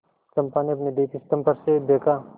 चंपा ने अपने दीपस्तंभ पर से देखा